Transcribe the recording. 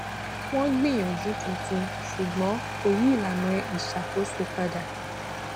wọn gbìyànjú tuntun ṣùgbọn kò yí ìlànà iṣakoso padà